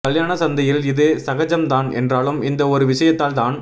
கல்யாண சந்தையில் இது சகஜம் தான் என்றாலும் இந்த ஒரு விஷயத்தால் தான்